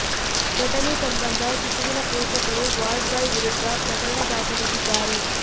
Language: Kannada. ಘಟನೆ ಸಂಬಂಧ ಶಿಶುವಿನ ಪೋಷಕರು ವಾರ್ಡ್ ಬಾಯ್ ವಿರುದ್ಧ ಪ್ರಕರಣ ದಾಖಲಿಸಿದ್ದಾರೆ